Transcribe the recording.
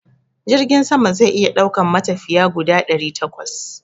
Jirgin sama zai iya daukan matafiya guda ɗari takwas